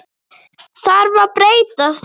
Þarf að breyta því?